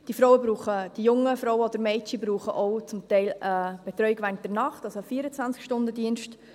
Diese jungen Frauen oder Mädchen brauchen zum Teil auch eine Betreuung während der Nacht, also einen 24-Stunden-Dienst.